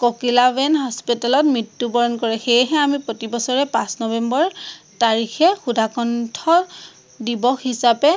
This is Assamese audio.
ককিলাবেন hospital ত মৃত্য়ুবৰণ কৰে। সেয়েহে আমি প্ৰতিবছৰে পাঁচ নৱেম্বৰ তাৰিখে সুধাকণ্ঠ দিৱস হিচাপে